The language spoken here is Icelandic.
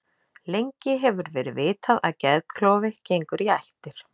Lengi hefur verið vitað að geðklofi gengur í ættir.